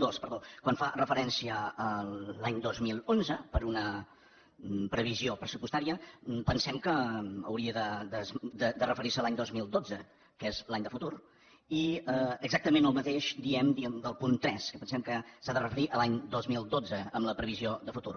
dos quan fa referència a l’any dos mil onze per a una previsió pressupostària pensem que hauria de referir se a l’any dos mil dotze que és l’any de futur i exactament el mateix diem del punt tres que pensem que s’ha de referir a l’any dos mil dotze en la previsió de futur